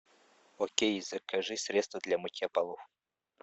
окей закажи средство для мытья полов